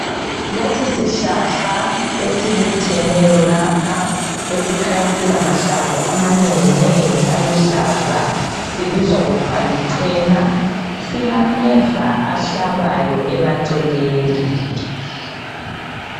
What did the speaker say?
Lesisihlahla esibutheneyo lapha , esikhanya silamahlamvu, amanenginengi aluhlaza. Sibizwa kuthiwa lichena. SIlalameva ahlabayo emaceleni.